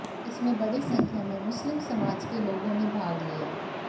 इसमें बड़ी संख्या में मुस्लिम समाज के लोगों ने भाग लिया